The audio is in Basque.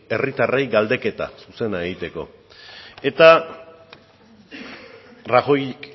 herritarrei galdeketa zuzena egiteko eta rajoyk